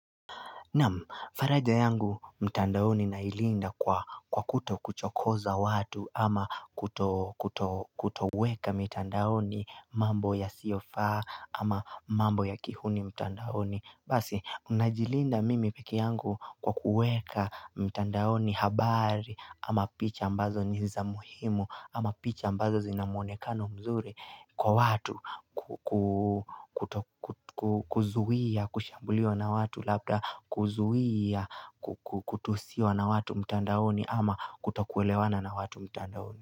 Naamu, faraja yangu mtandaoni nailinda kwa kuto kuchokoza watu ama kutoweka mitandaoni mambo yasiyofaa ama mambo ya kihuni mtandaoni. Basi, najilinda mimi peke yangu kwa kuweka mtandaoni habari ama picha ambazo ni za muhimu ama picha ambazo zinamuonekano mzuri Kwa watu kuzuhia, kushambuliwa na watu Labda kuzuhia, kutusiwa na watu mtandaoni ama kuto kuelewana na watu mtandaoni.